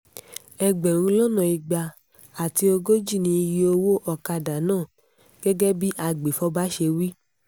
ẹgbẹ̀rún lọ́nà igba àti ogójì ni iye owó ọ̀kadà náà gẹ́gẹ́ bí agbèfọ́ba ṣe wí